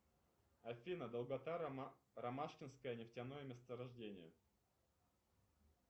афина долгота ромашкинское нефтяное месторождение